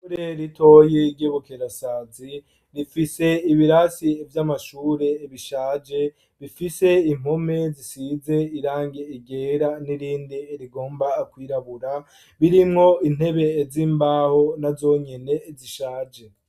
Ure ritoye igebukerasazi rifise ibirasi vy'amashure bishaje bifise impome zisize irange igera n'irinde rigomba kwirabura birimwo intebe z'imbaho na zonyene zishaje.